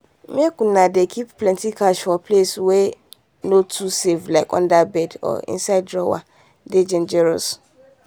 make you dey keep plenty cash for places wey no too safe like under bed or inside drawer dey dangerous.